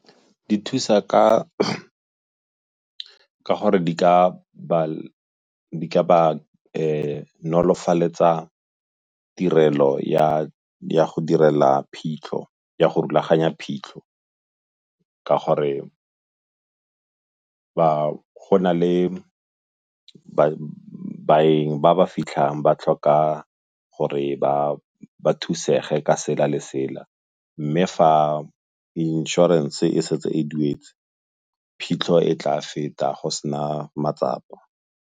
Di thusa ka gore di ka ba nolofaletsa tirelo ya go direla phitlho, ya go rulaganya phitlho ka gore go na le baeng ba ba fitlhang ba tlhoka gore ba thusege ka sela le sela, mme fa inšorense e setse e duetse, phitlho e tla feta go sena matsapa.